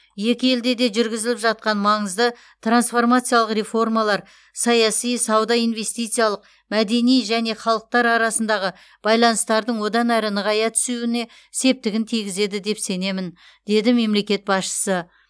екі елде де жүргізіліп жатқан маңызды трансформациялық реформалар саяси сауда инвестициялық мәдени және халықтар арасындағы байланыстардың одан әрі нығая түсуіне септігін тигізеді деп сенемін деді мемлекет басшысы